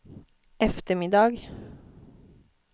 eftermiddag